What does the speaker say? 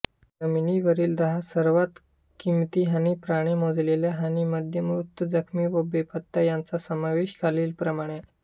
जमिनीवरील दहा सर्वात किमती हानीप्रमाणे मोजलेल्या हानीमध्ये मृत जखमी व बेपत्ता यांचा समावेश आहे खालीलप्रमाणे